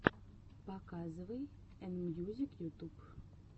показывай энмьюзик ютуб